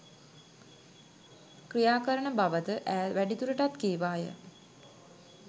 ක්‍රියා කරන බවද ඈ වැඩිදුරටත් කීවාය.